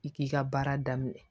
I k'i ka baara daminɛ